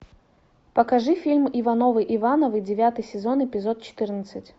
покажи фильм ивановы ивановы девятый сезон эпизод четырнадцать